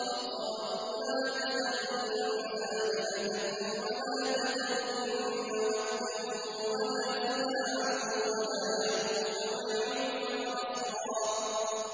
وَقَالُوا لَا تَذَرُنَّ آلِهَتَكُمْ وَلَا تَذَرُنَّ وَدًّا وَلَا سُوَاعًا وَلَا يَغُوثَ وَيَعُوقَ وَنَسْرًا